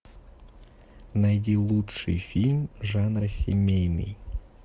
найди лучший фильм жанра семейный